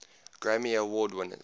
grammy award winners